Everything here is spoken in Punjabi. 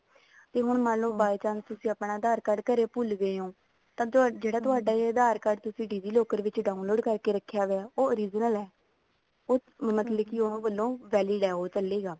ਤੇ ਹੁਣ ਮੰਨਲੋ by chance ਤੁਸੀਂ ਆਪਣਾ ਆਧਾਰ card ਘਰੇ ਭੁੱਲ ਗਏ ਹੋ ਤਾਂ ਤੁਹਾਡਾ ਜਿਹੜਾ ਆਧਾਰ card ਕਿਸੀ digi locker ਵਿੱਚ download ਕਰਕੇ ਰੱਖਿਆ ਹੋਇਆ ਉਹ original ਹੈ ਮਤਲਬ ਕੇ ਉਹਨਾ ਵੱਲੋਂ valid ਹੈ ਚੱਲੇਗਾ